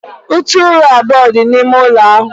Ute ụra abụọ dị n'ime ụlọ ahụ.